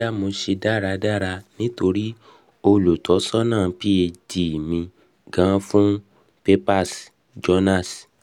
boya mo se daradara nitori olutosana phd ti mi gan fun papers journals